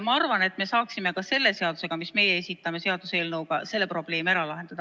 Ma arvan, et me saaksime ka selle seaduseelnõuga, mille meie esitame, selle probleemi ära lahendada.